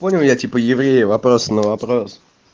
понял я типа евреи вопросом на вопрос